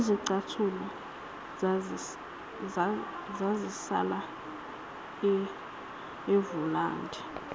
izicathulo zazisala evulandi